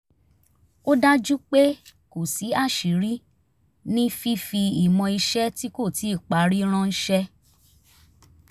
ó dájú pé kò sí aṣíiri ní fífi ìmọ̀ iṣẹ́ tí kò tíì parí ránṣẹ́